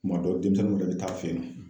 Kuma dɔ demisɛnninw de be taa'a fe yen nɔ